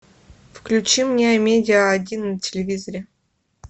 включи мне амедиа один на телевизоре